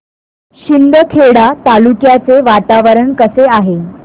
शिंदखेडा तालुक्याचे वातावरण कसे आहे